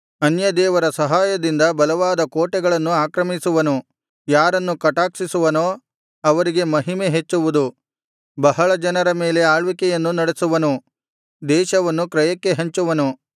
ಅನ್ಯದೇವರ ಸಹಾಯದಿಂದ ಬಲವಾದ ಕೋಟೆಗಳನ್ನು ಆಕ್ರಮಿಸುವನು ಯಾರನ್ನು ಕಟಾಕ್ಷಿಸುವನೋ ಅವರಿಗೆ ಮಹಿಮೆ ಹೆಚ್ಚುವುದು ಬಹಳ ಜನರ ಮೇಲೆ ಆಳ್ವಿಕೆಯನ್ನು ನಡೆಸುವನು ದೇಶವನ್ನು ಕ್ರಯಕ್ಕೆ ಹಂಚುವನು